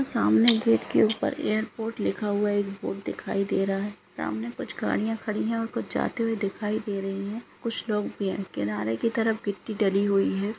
सामने गेट के ऊपर एयरपोर्ट लिखा हुआ एक बोर्ड दिखाई दे रहा है सामने कुछ गाड़ियां खड़ी हैं ओर कुछ जाते हुए दिखाई दे रही है कुछ लोग भी हैं किनारे कि तरफ गिट्टी डली हुई है ।